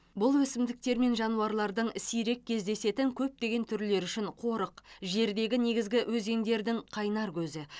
бұл өсімдіктер мен жануарлардың сирек кездесетін көптеген түрлері үшін қорық жердегі негізгі өзендердің қайнар көзі